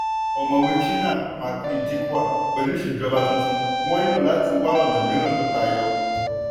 ọ̀mọ̀wé chinnan maclean-dikwal pẹ̀lú ìṣèjọba tuntun wọ́n nílò láti wá ọ̀nà míràn tí ó tayọ.